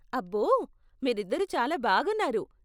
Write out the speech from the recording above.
అబ్బో, మీరిద్దరు చాలా బాగున్నారు.